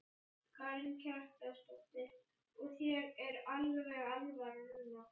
Karen Kjartansdóttir: Og þér er alveg alvara núna?